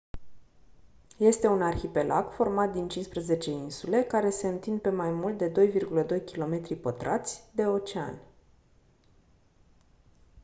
este un arhipelag format din 15 insule care se întind pe mai mult de 2,2 km² de ocean